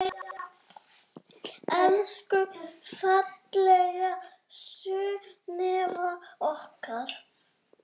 Elsku fallega Sunneva okkar.